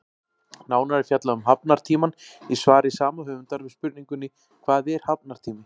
Nánar er fjallað um hafnartímann í svari sama höfundar við spurningunni Hvað er hafnartími?